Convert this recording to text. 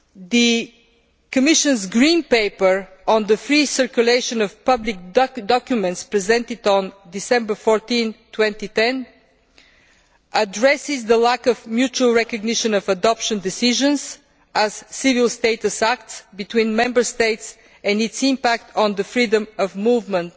The Commission's Green Paper on the free circulation of public documents, published on 14 December 2010, addresses the lack of mutual recognition of adoption decisions as civil status acts between Member States and its impact on the freedom of movement